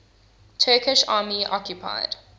turkish army occupied